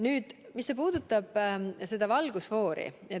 Nüüd see, mis puudutab valgusfoori.